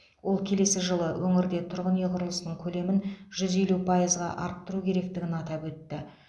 ол келесі жылы өңірде тұрғын үй құрылысының көлемін жүз елу пайызға арттыру керектігін атап өтті